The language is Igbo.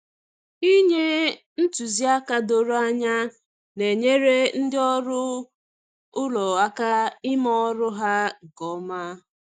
Inye ntụziaka doro anya na-enyere ndị ọrụ ụlọ aka ime ọrụ ha nke ọma.